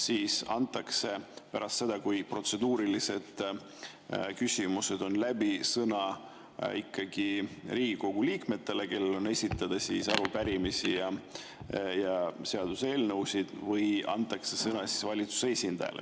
Kas antakse pärast seda, kui protseduurilised küsimused on läbi, sõna ikkagi Riigikogu liikmetele, kellel on esitada arupärimisi ja seaduseelnõusid, või antakse sõna valitsuse esindajale?